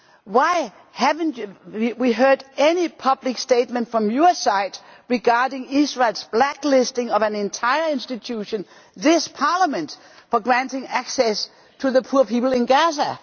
Why have we not heard any public statement from your side regarding Israel's blacklisting of an entire institution, this Parliament, for granting access to the poor people in Gaza?